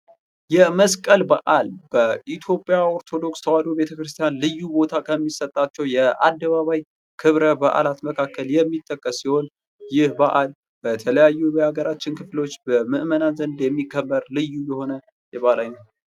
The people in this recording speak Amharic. የመስቀል በዓል በኢትዮጵያ ኦርቶዶክስ ተዋሕዶ ቤተ ክርስቲያን ልዩ ቦታ ከሚሰጣቸው የአደባባይ ክብረ በዓላት መካከል የሚጠቀስ ሲሆን፤ ይህ በዓል በተለያዩ በሀገራችን ክፍሎች በምዕመናን ዘንድ የሚከበር ልዩ የሆነ የባዕላዊ